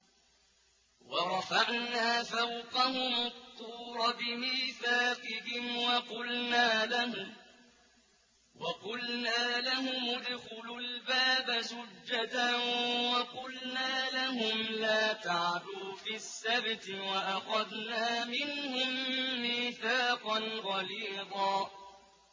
وَرَفَعْنَا فَوْقَهُمُ الطُّورَ بِمِيثَاقِهِمْ وَقُلْنَا لَهُمُ ادْخُلُوا الْبَابَ سُجَّدًا وَقُلْنَا لَهُمْ لَا تَعْدُوا فِي السَّبْتِ وَأَخَذْنَا مِنْهُم مِّيثَاقًا غَلِيظًا